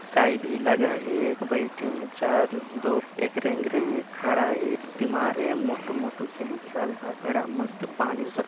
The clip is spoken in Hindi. काई भी लगा है बईठे हैं चार लोग एक रेंगरे है एक खड़ा है तिमार् है मोटू लोग